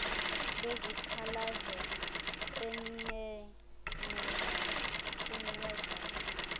lwezikhalazo iner engakunceda